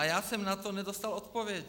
A já jsem na to nedostal odpověď.